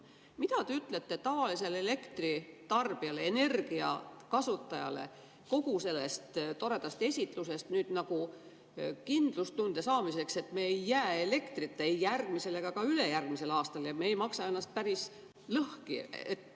Mida te ütlete tavalisele elektritarbijale, energiakasutajale kogu seda toredat esitlust, et saadaks kindlustunne, et me ei jää elektrita ei järgmisel ega ka ülejärgmisel aastal ja et me ei maksa ennast päris lõhki?